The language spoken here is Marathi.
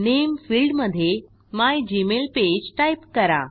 नामे फिल्डमधे मिगमेलपेज टाईप करा